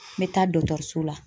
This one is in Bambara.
N bɛ taa dɔtɔriso la.